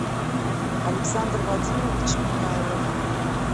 александр вадимович меняйлов